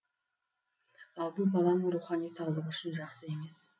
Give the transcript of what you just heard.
ал бұл баланың рухани саулығы үшін жақсы емес